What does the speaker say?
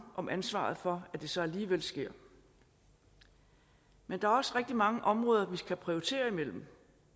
om ansvaret for at det så alligevel sker men der er også rigtig mange områder vi skal prioritere imellem